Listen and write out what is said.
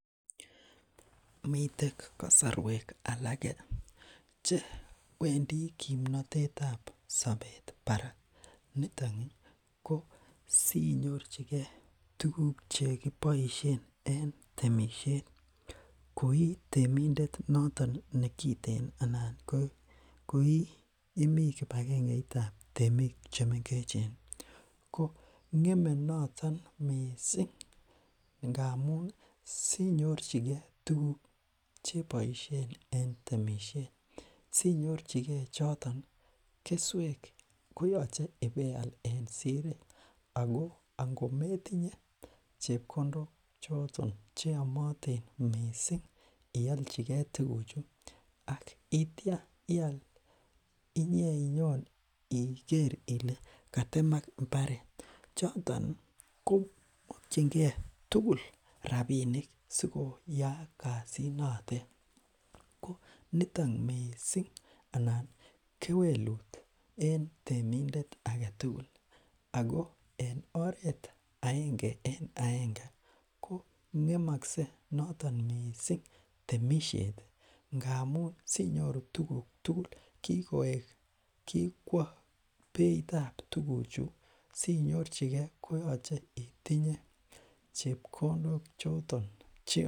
Miten kasarwek alake che Wendii kimnatetab sabet ih , barak, nito ih sinyorchike tuguk chekiboisien en temisiet, koi temindet noton kekiten anan ko iih imi kibakengeitab temik chemengechen, ih ng'eme noton missing ngamun sinyorchike tuguk chebaishe en temisiet ih , sinyorchike keswek en Siret ih ko angometinye chebkondok choton cheame ialchike tuguk chu akitya ial inyeinyon igere Ile katemak imbaret, choton komakyinge tugul rabinik sikoyaak kasit noton ko nito missing anan kewelutiet en temindet ake tugul Ako oret aenge en aenge kong'emakse noton missing temisiet ngamun sinyoru tuguk tugul ko kikwa beitab tuguchu chebkondok chon